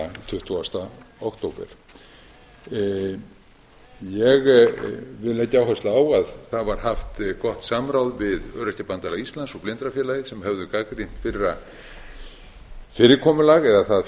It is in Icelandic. tuttugasta október ég vil leggja áherslu á að það var haft gott samráð við öryrkjabandalag íslands og blindrafélagið sem höfðu gagnrýnt fyrra fyrirkomulag eða það